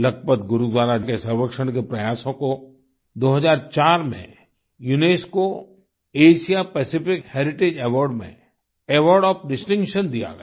लखपत गुरुद्वारा के संरक्षण के प्रयासों को 2004 में UNESCO Asia Pacific heritage award में अवार्ड ओएफ डिस्टिंक्शन दिया गया